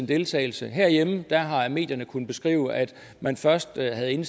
deltagelse herhjemme har medierne kunnet beskrive at man først havde en